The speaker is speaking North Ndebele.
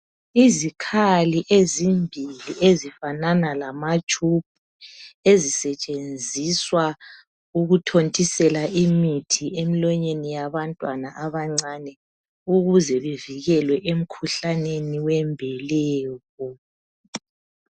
Izikhali ezimbili ezifanana lamatube ezisetshenziswa ukuthontiselwa imithi emlonyeni yabantwana abancani ukuze bevikelwe emkhuhlaneni wembeleko